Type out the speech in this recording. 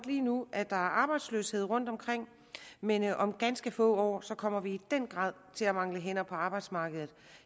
lige nu er arbejdsløshed rundtomkring men om ganske få år kommer vi i den grad til at mangle hænder på arbejdsmarkedet